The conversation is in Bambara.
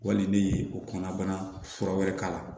Wali ne ye o kɔnɔbana fura wɛrɛ k'a la